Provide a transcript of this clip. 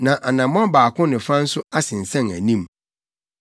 na anammɔn baako ne fa nso asensɛn anim.